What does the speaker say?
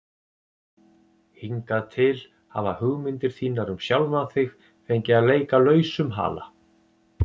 Hingað til hafa hugmyndir þínar um sjálfan þig fengið að leika lausum hala.